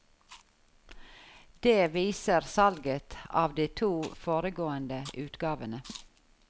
Det viser salget av de to foregående utgavene.